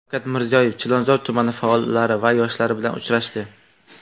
Shavkat Mirziyoyev Chilonzor tumani faollari va yoshlari bilan uchrashdi.